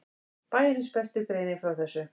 Bæjarins besta greinir frá þessu.